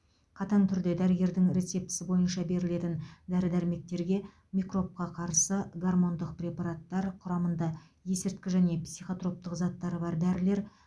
қатаң түрде дәрігердің рецептісі бойынша берілетін дәрі дәрмектерге микробқа қарсы гормондық препараттар құрамында есірткі және психотроптық заттары бар дәрілер